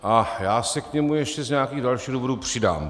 A já se k němu ještě z nějakých dalších důvodů přidám.